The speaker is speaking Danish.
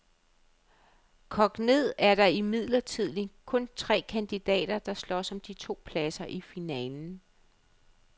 Kogt ned er der imidlertid kun tre kandidater, der slås om de to pladser i finalen.